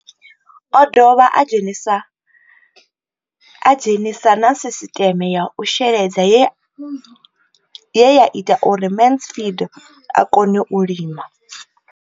O ḓo dovha a dzhenisa na sisiṱeme ya u sheledza ye ya ita uri Mansfied a kone u lima.